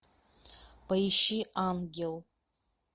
поищи ангел